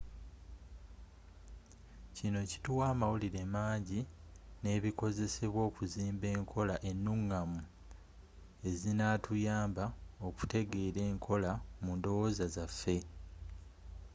kino kituwa amawulire mangi nebikozesebwa okuzimba enkola enungamu ezinatuyamba okutegeera enkola mundowooza zaffe